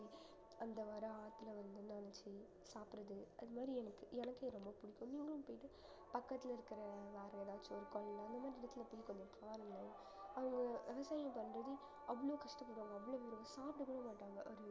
அந்த வர ஆத்துல வந்து சாப்பிடறது அது மாதிரி எனக்கு எனக்கே ரொம்ப புடிக்கும் நீங்களும் போயிட்டு பக்கத்துல இருக்க வேற ஏதாச்சு ஒரு கோயில்ல அந்த மாதிரி இடத்துல போயி கொஞ்சம் விவசாயம் பண்றது அவ்ளோ கஷ்டப்படுவாங்க அவ்வளவு சாப்பிடக்கூட மாட்டாங்க ஒரு